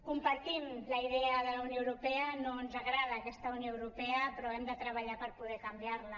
compartim la idea de la unió europea no ens agrada aquesta unió europea però hem de treballar per poder canviar la